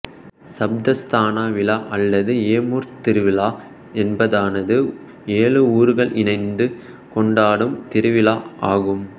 சப்தஸ்தான விழா அல்லது ஏழூர்த் திருவிழா என்பதானது ஏழு ஊர்கள் இணைந்து கொண்டாடும் திருவிழா ஆகும்